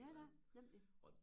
Ja da nemlig